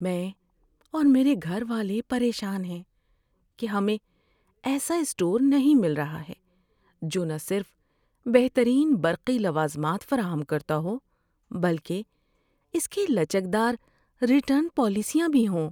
میں اور میرے گھر والے پریشان ہیں کہ ہمیں ایسا اسٹور نہیں مل رہا ہے جو نہ صرف بہترین برقی لوازمات فراہم کرتا ہو بلکہ اس کی لچکدار ریٹرن پالیسیاں بھی ہوں۔